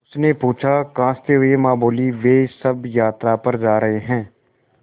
उसने पूछा खाँसते हुए माँ बोलीं वे सब यात्रा पर जा रहे हैं